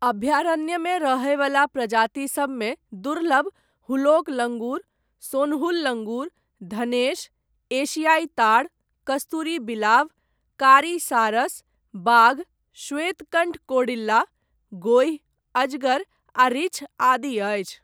अभ्यारण्यमे रहयवला प्रजाति सबमे दुर्लभ हुलॉक लङ्गूर, सोनहुल लङ्गूर, धनेश, एशियाइ ताड़, कस्तूरी बिलाव, कारी सारस, बाघ, श्वेतकण्ठ कौड़िल्ला, गोहि, अजगर आ रीछ आदि अछि।